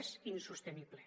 és insostenible